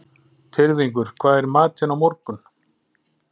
Tyrfingur, hvað er í matinn á laugardaginn?